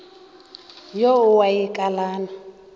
yo a e wa kalana